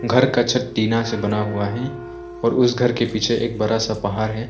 घर का छत टीना से बना हुआ है और उस घर के पीछे एक बड़ा सा पहाड़ है।